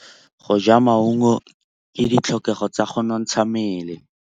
Go ja maungo ke ditlhokegô tsa go nontsha mmele.